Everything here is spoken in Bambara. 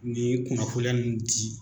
Nin kunnafoliya ninnu di